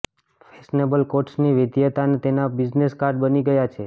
fashionable કોટ્સની વૈવિધ્યતા તેના બિઝનેસ કાર્ડ બની ગયા છે